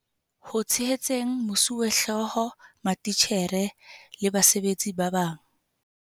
Ho tshehetseng mosuwehlooho, matitjhere le basebetsi ba bang.